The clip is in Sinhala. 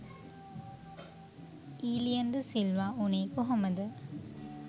'ඊලියන් ද සිල්වා' උනේ කොහොමද?